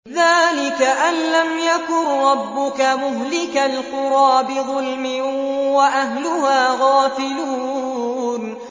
ذَٰلِكَ أَن لَّمْ يَكُن رَّبُّكَ مُهْلِكَ الْقُرَىٰ بِظُلْمٍ وَأَهْلُهَا غَافِلُونَ